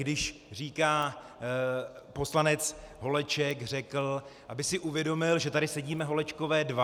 Když říká "poslanec Holeček řekl", aby si uvědomil, že tady sedíme Holečkové dva.